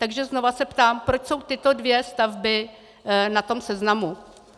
Takže se znovu ptám, proč jsou tyto dvě stavby na tom seznamu.